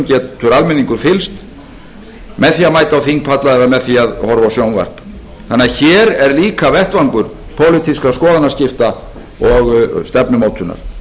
getur almenningur fylgst með því að mæta á þingpalla eða með því að horfa á sjónvarp þannig að hér er líka vettvangur pólitískra skoðanaskipta og stefnumótunar